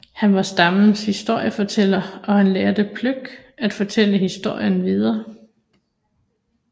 Han var stammens historiefortæller og han lærte Pløk at fortælle historierne videre